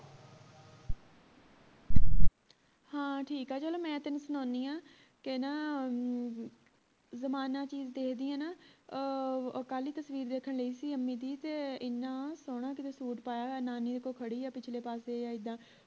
ਹਾਂ ਠੀਕ ਆ ਚਲੋ ਮੈਂ ਤੈਨੂੰ ਸੁਣਾਉਣੀ ਆ ਕੇ ਨਾ ਜਮਾਨਾ ਚੀਜ ਦੇ ਦੀਏ ਨਾ ਅਹ ਕੱਲ ਹੀ ਤਸਵੀਰ ਦੇਖਣ ਢਈ ਸੀ ਅੰਮੀ ਦੀ ਤੇ ਇੰਨਾ ਸੋਹਣਾ ਕਿਤੇ ਸੁਤ ਪਾਇਆ ਹੋਇਆ ਨਾਨੀ ਓਹਦੇ ਕੋਲ ਖੜੀ ਆ ਪਿਛਲੇ ਪਾਸੇ ਇੱਦਾਂ